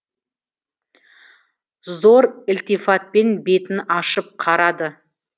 зор ілтифатпен бетін ашып қарады